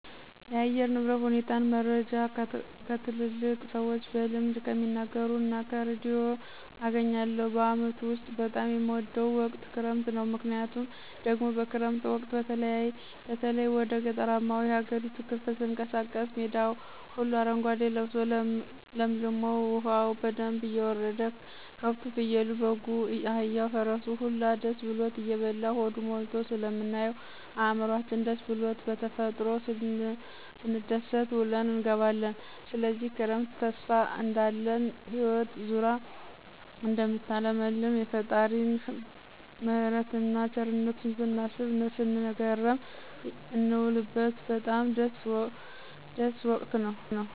የአየር ንብረት ሁኔታን መረጃ ከትላልቅ ሰዎች በልምድ ከሚናገሩት እና ከርዲዮ አገኛለሁ። በአመቱ ውስጥ በጣም የምወደው ወቅት ክረምት ነው። ምክንያቱ ደግሞ በክረምት ወቅት በተለይ ወደ ገጠራማው የሀገሪቱ ክፍል ስንቀሳቀስ ሜዳው ሁሉ አረጓዴ ልብሶ ለምልሞ፣ ዉሀው በደንብ እየወረደ፣ ከብቱ፣ ፍየሉ፣ በጉ፣ አህያው፣ ፈረሱ ሁላ ደስ ብሎት እየበላ ሆዱ ሞልቶ ስለምናየው እዕምሯችን ደስስ ብሉት በተፈጥሮ ስንደሰት ውለን እንገባለን። ስለዚህ ክረምት ተስፋ እንዳለን ህይወት ዙራ እደምታለመልም፣ የፈጣሪን ምህረትን እና ቸርነቱን ስናስብ ስንገረም የንውልበት በጣም ደስ ወቅት ነው።